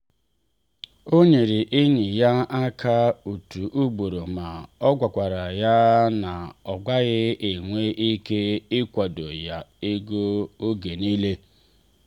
ọ nyere enyi ya aka otu ugboro ma o gwakwara ya na ọ gaghị enwe ike ịkwado ya ego oge niile.